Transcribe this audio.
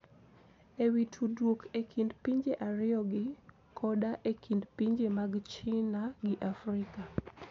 E wi tudruok e kind pinje ariyogi, koda e kind pinje mag China gi Afrika.